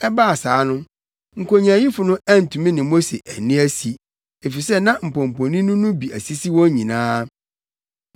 Ɛbaa saa no, nkonyaayifo no antumi ne Mose anni asi, efisɛ na mpɔmpɔnini no bi asisi wɔn nyinaa.